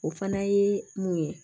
O fana ye mun ye